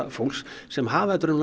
fólks sem hafa þetta